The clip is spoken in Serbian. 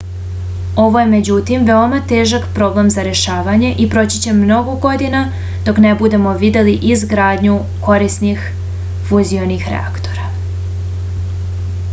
ovo je međutim veoma težak problem za rešavanje i proći će mnogo godina dok ne budemo videli izgradnju korisnih fuzionih reaktora